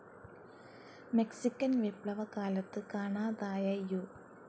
Mexican വിപ്ലവ കാലത്ത് കാണാതായ യു.